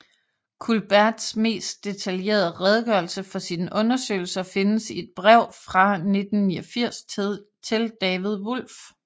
Culberts mest detaljerede redegørelse for sine undersøgelser findes i et brev fra 1989 til David Wolf